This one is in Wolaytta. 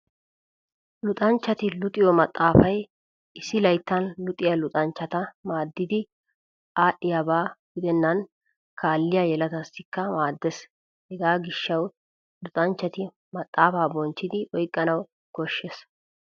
Luxanchchati luxiyo maxaafay issi layttan luxiya luxanchchata maaddidi aadhdhiigiyaba gidennan kaalliya yeletaassikka maaddees. Hegaa gishshawu luxanchchati maxaafaa bonchchidi oyqqanawu koshshees.